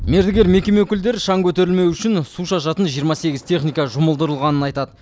мердігер мекеме өкілдері шаң көтерілмеуі үшін су шашатын жиырма сегіз техника жұмылдырылғанын айтады